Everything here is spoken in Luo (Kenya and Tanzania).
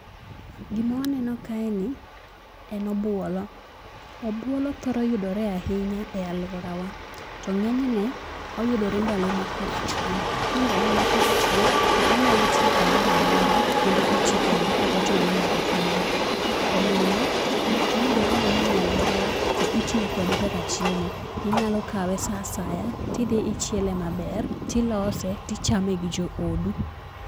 Gima waneno kaeni en obuolo. Obuolo thoro yudore ahinya e aluorawa. To ng'enyne, oyudore ndalo ma koth chwe. Ni ndalo ma koth chwe to onyalo ti kamoro amora, kendo oti kende, ok ochuno ni nyaka pidhe. Omiyo oyudore mang'eny e aluorawa to itiyo kode kaka chiemo. Inyalo kawe saa asaya tidhi ichiele maber, tilose tichame gi joodu.